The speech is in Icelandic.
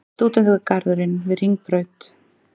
Stúdentagarðurinn við Hringbraut.